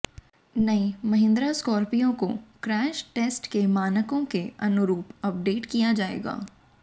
नई महिंद्रा स्कॉर्पियो को crash test के मानकों के अनुरूप अपडेट किया जाएगा